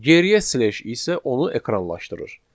Geriyə slash isə onu ekranlaşdırır.